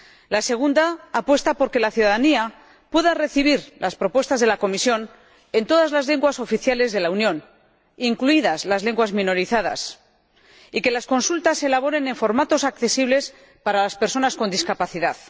La segunda apuesta por que la ciudadanía pueda recibir las propuestas de la Comisión en todas las lenguas oficiales de la Unión, incluidas las lenguas minorizadas, y que las consultas se elaboren en formatos accesibles para las personas con discapacidad.